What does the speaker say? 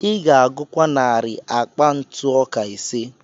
Ị ga-agụkwa narị akpa ntụ ọka ise.